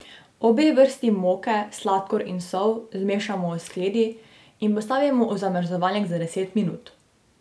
Obe vrsti moke, sladkor in sol zmešamo v skledi in postavimo v zamrzovalnik za deset minut.